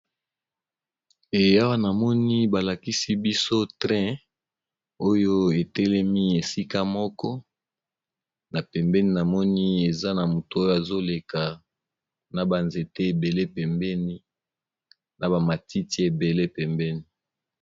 Awa namoni balakisi biso masuwa, etelemi esika moko, pe tomoni mutu moko atelemi na ba matiti ébélé pembeni